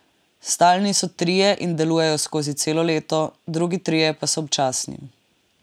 Stalni so trije in delujejo skozi celo leto, drugi trije pa so občasni.